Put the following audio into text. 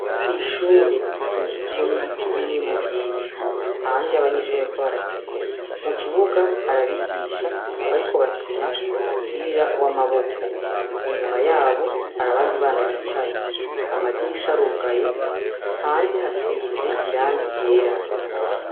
Kw'ishure rikikijwe n'ibiti binini birebire, hanze, abanyeshure bariko barakina. Ku kibuga hari abigisha bariko barakina umupira w'amaboko. Inyuma yabo hari abandi bana bicaye. Amadirisha arugaye, hanze hasize irangi ryera.